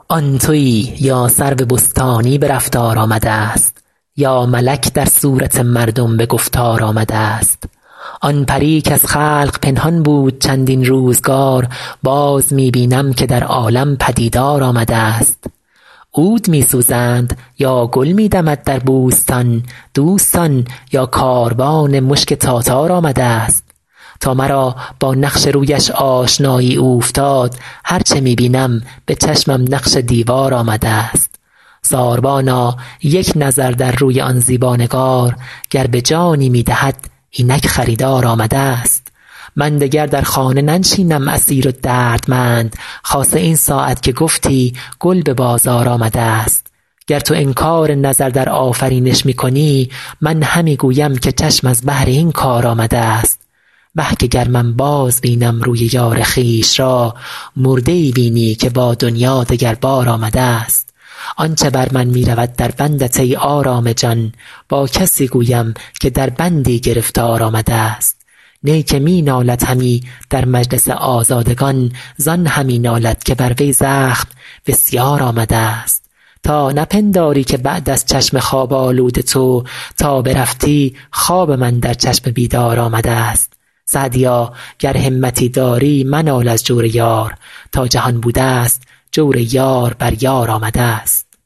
آن تویی یا سرو بستانی به رفتار آمده ست یا ملک در صورت مردم به گفتار آمده ست آن پری کز خلق پنهان بود چندین روزگار باز می بینم که در عالم پدیدار آمده ست عود می سوزند یا گل می دمد در بوستان دوستان یا کاروان مشک تاتار آمده ست تا مرا با نقش رویش آشنایی اوفتاد هر چه می بینم به چشمم نقش دیوار آمده ست ساربانا یک نظر در روی آن زیبا نگار گر به جانی می دهد اینک خریدار آمده ست من دگر در خانه ننشینم اسیر و دردمند خاصه این ساعت که گفتی گل به بازار آمده ست گر تو انکار نظر در آفرینش می کنی من همی گویم که چشم از بهر این کار آمده ست وه که گر من بازبینم روی یار خویش را مرده ای بینی که با دنیا دگر بار آمده ست آن چه بر من می رود در بندت ای آرام جان با کسی گویم که در بندی گرفتار آمده ست نی که می نالد همی در مجلس آزادگان زان همی نالد که بر وی زخم بسیار آمده ست تا نپنداری که بعد از چشم خواب آلود تو تا برفتی خوابم اندر چشم بیدار آمده ست سعدیا گر همتی داری منال از جور یار تا جهان بوده ست جور یار بر یار آمده ست